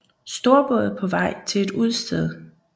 Storbåd på vej til et udsted